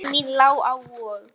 Leið mín lá á Vog.